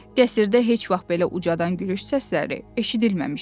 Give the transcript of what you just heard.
Qəsrdə heç vaxt belə ucadan gülüş səsləri eşidilməmişdi.